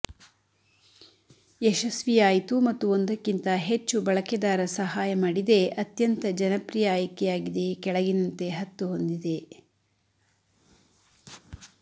ಯಶಸ್ವಿಯಾಯಿತು ಮತ್ತು ಒಂದಕ್ಕಿಂತ ಹೆಚ್ಚು ಬಳಕೆದಾರ ಸಹಾಯ ಮಾಡಿದೆ ಅತ್ಯಂತ ಜನಪ್ರಿಯ ಆಯ್ಕೆಯಾಗಿದೆ ಕೆಳಗಿನಂತೆ ಹತ್ತು ಹೊಂದಿದೆ